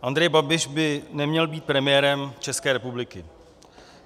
Andrej Babiš by neměl být premiérem České republiky.